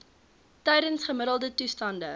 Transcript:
tydens gemiddelde toestande